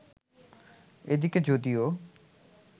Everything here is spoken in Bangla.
এদিকে যদিও